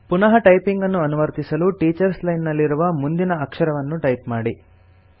ಪುನಃ ಟೈಪಿಂಗ್ ಅನ್ನು ಅನುವರ್ತಿಸಲು ಟೀಚರ್ಸ್ ಲೈನ್ ನಲ್ಲಿರುವ ಮುಂದಿನ ಅಕ್ಷರವನ್ನು ಟೈಪ್ ಮಾಡಿ